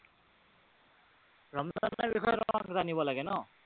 ৰমজানৰ বিষয়ে আপোনাক জানিব লাগে ন?